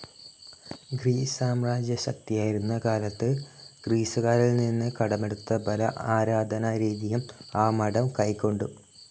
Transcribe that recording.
Greece സാമ്രാജ്യ ശക്തിയായിരുന്ന കാലത്ത് ഗ്രീസുകാരിൽ നിന്ന് കടമെടുത്ത പല ആരാധനാ രീതിയും ആ മഠം കൈക്കൊണ്ടു.